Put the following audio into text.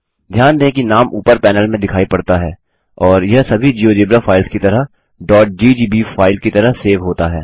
ध्यान दें कि नाम ऊपर पैनल में दिखाई पड़ता है और यह सभी जियोजेब्रा फाइल्स की तरह ggb फाइल की तरह सेव होता है